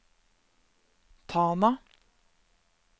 Tana